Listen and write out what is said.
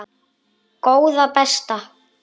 Góða besta.